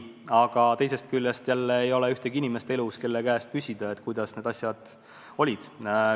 Aga teisest küljest jälle ei ole enam elus ühtegi inimest, kelle käest küsida, kuidas need asjad olid.